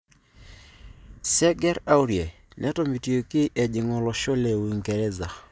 Serge Aurier netomitioki ejing olosho le Uingereza.